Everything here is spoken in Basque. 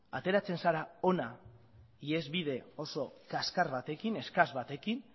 ateratzen zara hona ihesbide oso kaskar batekin eskas batekin